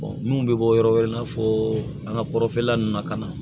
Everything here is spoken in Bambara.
minnu bɛ bɔ yɔrɔ wɛrɛ i n'a fɔ an ka kɔrɔfɔlan nun na ka na